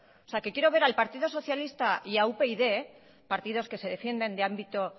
o sea quiero ver al partido socialista y a upyd partidos que se defienden de ámbito